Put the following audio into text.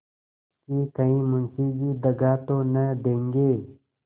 कि कहीं मुंशी जी दगा तो न देंगे